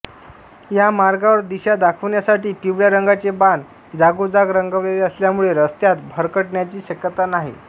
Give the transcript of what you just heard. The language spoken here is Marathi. या मार्गावर दिशा दाखवण्यासाठी पिवळ्या रंगाचे बाण जागोजाग रंगवलेले असल्यामुळे रस्त्यात भरकटण्याची शक्यता नाही